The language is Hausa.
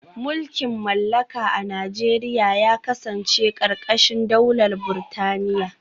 Mulkin mallaka a Najeriya ya kasance karkashin daular Burtaniya